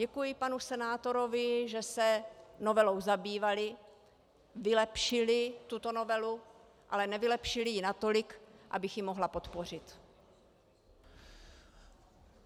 Děkuji panu senátorovi, že se novelou zabývali, vylepšili tuto novelu, ale nevylepšili ji natolik, abych ji mohla podpořit.